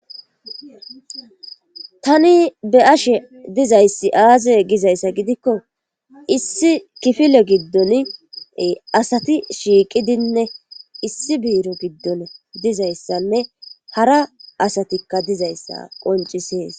Tani be ashe dizayssi aaze gizayssa gidikko issi kifilo giddon asati shiiqidinne issi biiro giddon dizayssanne hara asatikka dizayssa qoncisees.